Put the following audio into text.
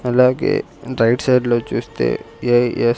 అలాగే రైట్ సైడ్లో చూస్తే ఏ_ఎస్ --